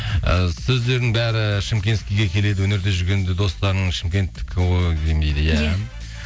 і сөздердің бәрі шымкентскийге келеді өнерде жүрген де достарың шымкенттікі ғой деймін дейді иә